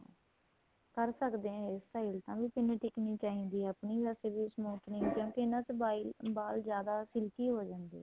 ਕਰ ਸਕਦੇ ਹਾਂ hair style ਵੀ ਪਿੰਨ ਟਿੱਕਣੀ ਚਾਹੀਦੀ ਏ ਆਪਣੀ ਵੈਸੇ ਵੀ smoothing ਕਿਉਂਕਿ ਇਹਨਾ ਚ ਵਾਲ ਜਿਆਦਾ silky ਹੋ ਜਾਂਦੇ ਏ